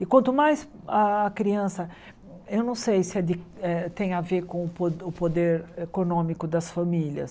E quanto mais a criança... Eu não sei se é de eh se tem a ver com o po o poder econômico das famílias.